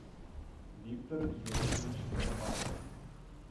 виктор юнусович горбатов